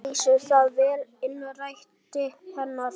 Lýsir það vel innræti hennar.